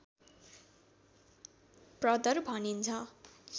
प्रदर भनिन्छ